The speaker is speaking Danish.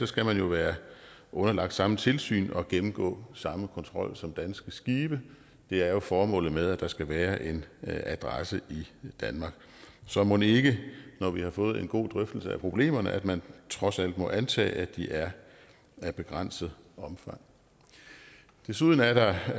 skal man jo være underlagt samme tilsyn og gennemgå samme kontrol som danske skibe det er jo formålet med at der skal være en adresse i danmark så mon ikke når vi har fået en god drøftelse af problemerne at man trods alt må antage at at de er af begrænset omfang desuden er der